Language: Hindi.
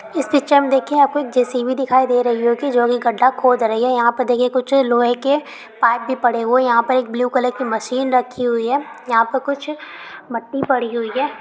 इस पिक्चर में देखिये आपको एक जे_सी_बी दिखाई दे रही होगी जोकि गड्ढा खोद रही हैं। यहाँ पे देखिये कुछ लोहे के पाइप भी पड़े हुए। यहाँ पे एक ब्लू कलर की मशीन रखी हुई हैं। यहपर कुछ मट्टी पड़ी हुई हैं।